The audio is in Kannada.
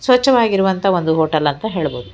ಸ್ವಚ್ಛವಾಗಿರುವಂತ ಒಂದು ಹೋಟೆಲ್ ಅಂತ ಹೇಳ್ಬೋದು.